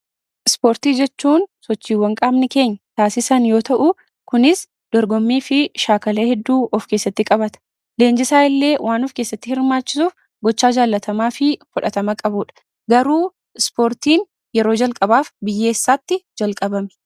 Ispoortii jechuun sochiiwwan qaamni keenya taasisan yoo ta'uu kunis dorgommii fi shaakala hedduu of keessatti qabata. Leenjisaa illee waan of keessatti hirmaachisuuf gochaa jaallatamaa fi fudhatama qabudha. Garuu ispoortiin yeroo jalqabaaf biyya eessatti jalqabame?